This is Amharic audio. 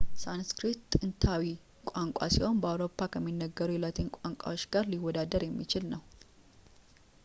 ሳንስክሪት ጥንታዊ ቋንቋ ሲሆን በአውሮፓ ከሚነገር የላቲን ቋንቋ ጋር ሊወዳደር የሚችል ነው